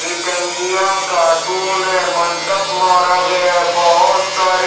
इटांगिया cartoon है मंडप मारा गया है बहोत सारे--